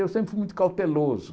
Eu sempre fui muito cauteloso.